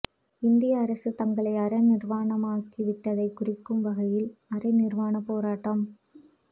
இந்திய அரசு தங்களை அரை நிாவாணமாக்கி விட்டதை குறிக்கும் வகையில் அரை நிர்வாண போராட்டம்